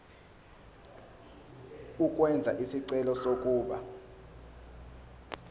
ukwenza isicelo sokuba